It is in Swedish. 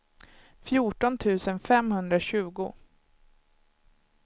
fjorton tusen femhundratjugo